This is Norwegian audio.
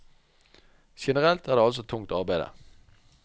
Generelt er det altså tungt arbeide.